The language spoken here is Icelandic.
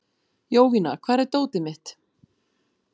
Jovina, hvar er dótið mitt?